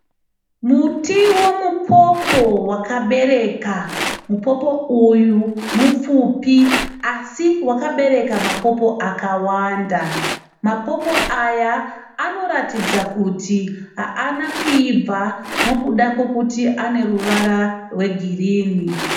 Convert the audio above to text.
Muti womupopo wakabereka. Mupopo uyu mupfupi asi wakabereka mapopo akawanda. Mapopo aya anoratidza kuti haana kuibva nokuda kokuti ane ruvara rwegirinhi (green).